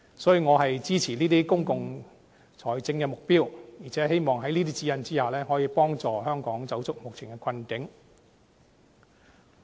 所以，我支持這些公共財政的目標，而且希望在這些指引之下，可以幫助香港走出目前的困境。